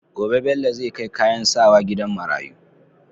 Gobe Bello zai kai kayan sawa gidan marayu